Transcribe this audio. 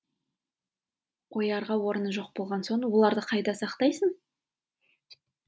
қоярға орны жоқ болған соң оларды қайда сақтайсың